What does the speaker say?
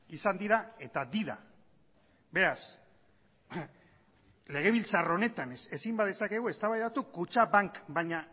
izan dira eta dira beraz legebiltzar honetan ezin badezakegu eztabaidatu kutxabank baina